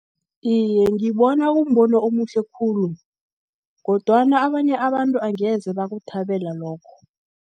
Iye, ngibona kumbono omuhle khulu, kodwana abanye abantu angeze bakuthabela lokho.